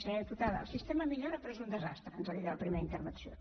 senyora diputada el sistema millora però és un desastre ens ha dit a la primera intervenció